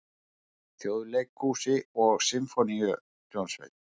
Þjóðleikhúsi og Sinfóníuhljómsveit.